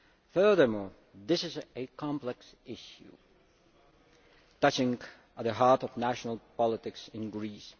Furthermore, this is a complex issue touching at the heart of national politics in Greece.